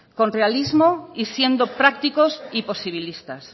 con realismo y siendo prácticos y posibilistas